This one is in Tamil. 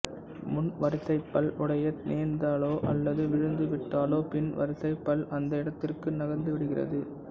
முன் வரிசைப்பல் உடைய நேர்ந்தாலோ அல்லது விழுந்து விட்டாலோ பின் வரிசைப் பல் அந்த இடத்திற்கு நகர்ந்து விடுகிறது